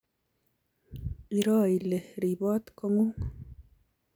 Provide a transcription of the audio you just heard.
Iroo ile riboot kotng'ung